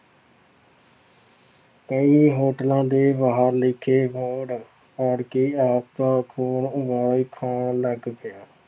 ਕਈ ਹੋਟਲਾਂ ਦੇ ਬਾਹਰ ਲਿਖੇ ਬੋਰਡ ਪੜ੍ਹਕੇ ਆਪਦਾ ਖੂਨ ਉਬਾਲ ਖਾਣ ਲੱਗ ਪਿਆ।